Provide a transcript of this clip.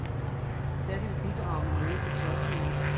Der kan vi bidrage med noget til topmødet.